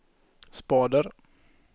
spader